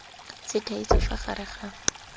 se thaetswe fa gare ga